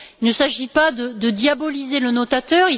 Il ne s'agit pas de diaboliser le notateur.